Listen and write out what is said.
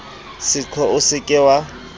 seqo o se ke wa